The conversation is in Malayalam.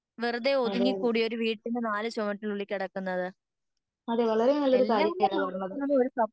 അതെയതെ അതെ വളരെ നല്ലൊരു കാര്യം തന്നെയാണ് പറഞ്ഞത്.